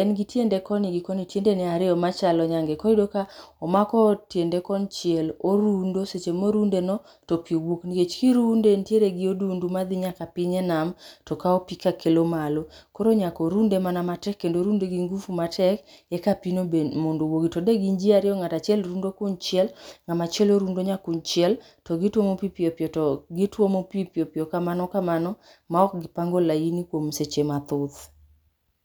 en gi tiende koni gi koni, tiendene ariyo machalo nyange. Koro ka omako tiende konchiel orundo seche morundeno to pi wuok. nikech kirunde entiere gi odundu madhi nyaka enam, to kawo pi akelo malo. Koro nyaka orunde mana matek, orunde gi nguvu[cs matek eka pigno be mondo owuogi to de gin ji ariyo ng'ato achiel rundo kun chiel ng'ama chielo rundo nyakun chiel to gituomo pi piyo piyo kamano kamano maok gipango laini kuom seche mathoth.